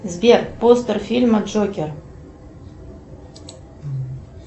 сбер постер фильма джокер